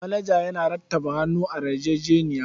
Manajan yana rattaba hannu a yarjejeniyar.